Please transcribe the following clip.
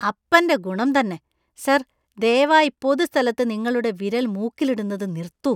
അപ്പന്‍റെ ഗുണം തന്നെ! സർ, ദയവായി പൊതുസ്ഥലത്ത് നിങ്ങളുടെ വിരൽ മൂക്കിലിടുന്നത് നിർത്തൂ.